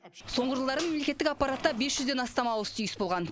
соңғы жылдары мемлекеттік аппаратта бес жүзден астам ауыс түйіс болған